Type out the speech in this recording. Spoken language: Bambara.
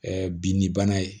binni bana ye